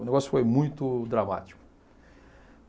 O negócio foi muito dramático.